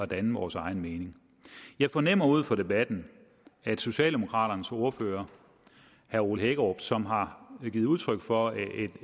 danne vores egen mening jeg fornemmer ud fra debatten at socialdemokraternes ordfører herre ole hækkerup som har givet udtryk for et